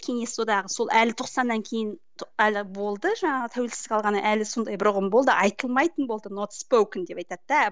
кеңес одағы сол әлі тоқсаннан кейін әлі болды жаңағы тәуелсіздік алғаннан әлі сондай бір ұғым болды айтылмайтын болды деп айтады да